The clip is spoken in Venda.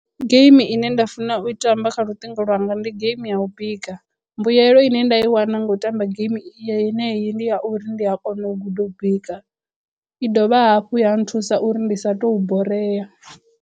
Geimi ine nda funa u i tamba kha luṱingo lwanga ndi game ya u bika mbuyelo ine nda i wana nga u tamba game yeneyi ndi ya uri ndi a kona u guda u bika i dovha hafhu ya nthusa uri ndi sa tou borea.